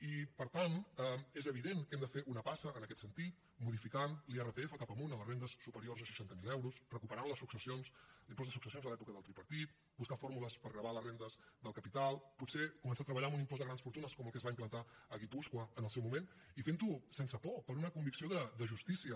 i per tant és evident que hem de fer una passa en aquest sentit modificant l’irpf cap amunt a les rendes superiors a seixanta miler euros recuperant les successions l’impost de successions de l’època del tripartit buscar fórmules per gravar les rendes del capital potser començar a treballar amb un impost de grans fortunes com el que es va implantar a guipúscoa en el seu moment i fent ho sense por per una convicció de justícia